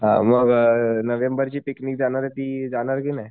हा मग अ नोव्हेंबर ची पिकनिक जाणार ती जाणार कि नाही?